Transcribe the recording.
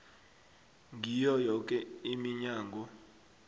ngiyo yoke iminyango